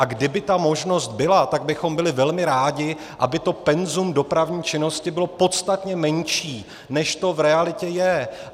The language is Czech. A kdyby ta možnost byla, tak bychom byli velmi rádi, aby to penzum dopravní činnosti bylo podstatně menší, než to v realitě je.